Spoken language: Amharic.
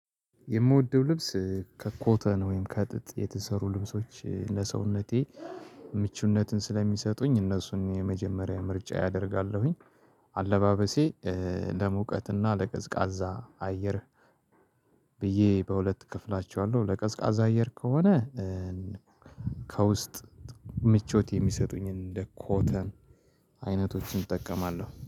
የምወደው ልብስ ከኮተን ወይም ከጥጥ የተሰሩ ልብሶች ለሰውነቴ ምቹነትን ስለሚሰጡኝ እነሱን የመጀመሪያ ምርጫየ አደርጋለሁኝ። አለባበሴ ለሙቀትና ለቀዝቃዛ አየር። ብዬ በሁለት እከፍላችኋለሁ ለቀዝቃዛ አየር ከሆነ። ከውስጥ ምቾት የሚሰጡኝን እንደ ኮተን አይነቶችን እጠቀማለሁ